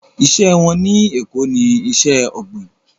Iṣẹ́ wọn ní Èko ní iṣẹ́ ọ̀gbìn